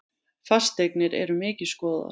Fasteignir eru mikið skoðaðar